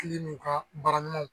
I bi n'u ka baara ɲumanw